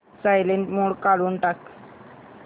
silent mode काढून टाक